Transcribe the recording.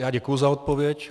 Já děkuji za odpověď.